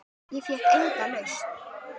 Ég fékk enga lausn.